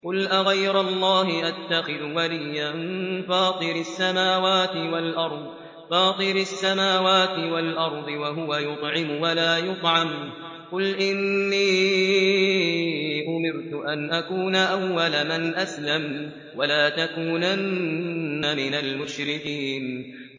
قُلْ أَغَيْرَ اللَّهِ أَتَّخِذُ وَلِيًّا فَاطِرِ السَّمَاوَاتِ وَالْأَرْضِ وَهُوَ يُطْعِمُ وَلَا يُطْعَمُ ۗ قُلْ إِنِّي أُمِرْتُ أَنْ أَكُونَ أَوَّلَ مَنْ أَسْلَمَ ۖ وَلَا تَكُونَنَّ مِنَ الْمُشْرِكِينَ